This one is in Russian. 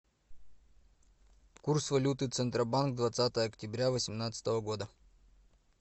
курс валюты центробанк двадцатое октября восемнадцатого года